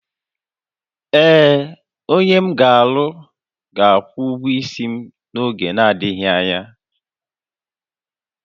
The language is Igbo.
Ee, onye m ga-alụ ga-akwụ ụgwọ isi m n'oge na-adịghị anya